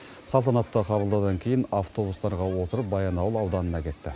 салтанатты қабылдаудан кейін автобустарға отырып баянауыл ауданына кетті